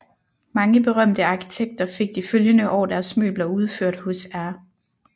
Mange berømte arkitekter fik de følgende år deres møbler udført hos R